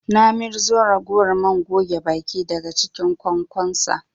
Na mirzo ragowar man goge baki daga cinkin ƙwansonsa